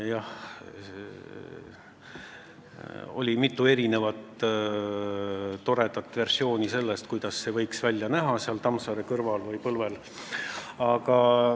Jah, oli mitu toredat versiooni, kuidas see võiks seal Tammsaare kõrval või põlvel välja näha.